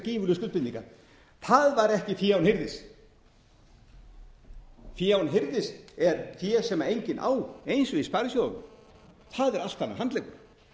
gífurlegu skuldbindingar það var ekki fé án hirðis fé án hirðis er fé sem enginn á eins og í sparisjóðunum það er allt annar handleggur